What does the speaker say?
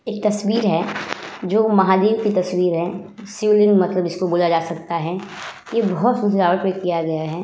एक तस्वीर है जो महादेव की तस्वीर है शिवलिंग इसको बोला जा सकता है यह बहुत ही सजावट भी किया गया है।